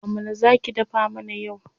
Amala za ki dafa mana yau.